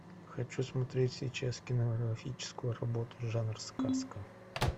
хочу смотреть сейчас кинематографическую работу жанр сказка